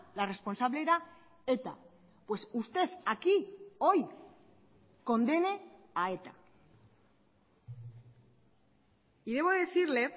la responsable era eta pues usted aquí hoy condene a eta y debo decirle